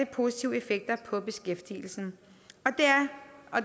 positive effekter på beskæftigelsen